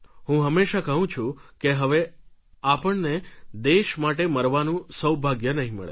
હું હંમેશા કહું છું કે હવે આપણને દેશ માટે મરવાનું સૌભાગ્ય નહિ મળે